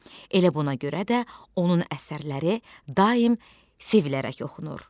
Elə buna görə də onun əsərləri daim sevilərək oxunur.